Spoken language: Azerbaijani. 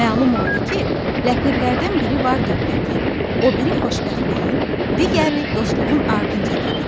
Məlum oldu ki, ləpirlərdən biri var dövlətin, o biri xoşbəxtliyin, digəri dostluğun ardınca gedirmiş.